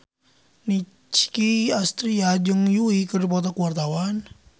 Nicky Astria jeung Yui keur dipoto ku wartawan